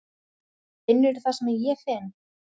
Finnurðu það sem ég finn?